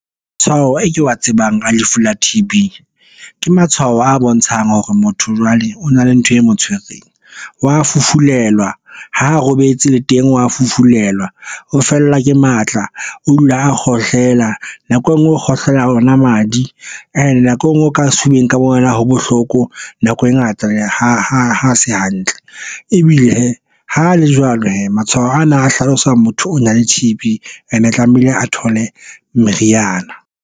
Matshwao e ke wa tsebang a lefu la T_B ke matshwao a bontshang hore motho jwale o na le ntho e mo tshwereng, wa fufulelwa ha a robetse le teng wa fufulelwa o fellwa ke matla, o dula a kgohlela nako e nngwe ho kgohlela ona madi and nako e nngwe o ka sefubeng ka bo wena ha bohloko nako e ngata ha se hantle ebile hee ho le jwalo hee. matshwao ana a hlalosa motho o na le T_B and e tlamehile a thole meriana.